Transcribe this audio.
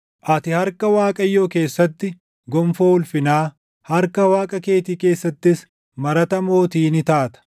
Ati harka Waaqayyoo keessatti gonfoo ulfinaa, harka Waaqa keetii keessattis marata mootii ni taata.